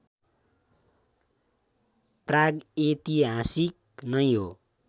प्राग्ऐतिहासिक नै हो